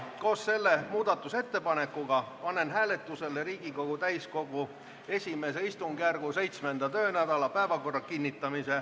Koos selle muudatusettepanekuga panen hääletusele Riigikogu täiskogu I istungjärgu 7. töönädala päevakorra.